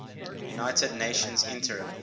united nations interim